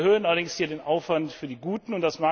Wir erhöhen allerdings hier den Aufwand für die Guten.